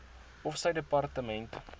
of sy departement